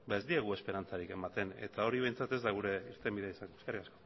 ez diegu esperantzarik ematen eta hori behintzat ez da gure irtenbidea izango eskerrik asko